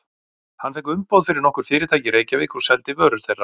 Hann fékk umboð fyrir nokkur fyrirtæki í Reykjavík og seldi vörur þeirra.